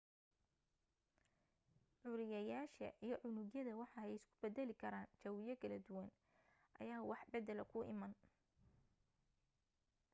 curiyayaasha iyo unugyada waxa ay isku badali karaan jawiyo kala duwan ayaa wax badala ku imaan